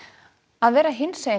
að vera hinsegin